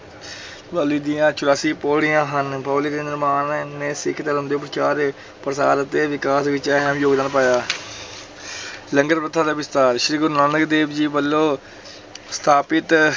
ਬਾਉਲੀ ਦੀਆਂ ਚੁਰਾਸੀ ਪੌੜੀਆਂ ਹਨ, ਬਾਉਲੀ ਦੇ ਨਿਰਮਾਣ ਨੇ ਸਿੱਖ ਧਰਮ ਦੇ ਪ੍ਰਚਾਰ, ਪ੍ਰਸਾਰ ਅਤੇ ਵਿਕਾਸ ਵਿੱਚ ਅੰਹਿਮ ਯੋਗਦਾਨ ਪਾਇਆ ਲੰਗਰ ਪ੍ਰਥਾ ਦਾ ਵਿਸਥਾਰ, ਸ੍ਰੀ ਗੁਰੂ ਨਾਨਕ ਦੇਵ ਜੀ ਵੱਲੋਂ ਸਥਾਪਿਤ